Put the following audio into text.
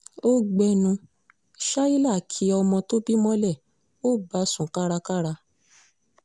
ó gbénú shaila kí ọmọ tó bí mọ́lẹ̀ ó bá a sún kárakára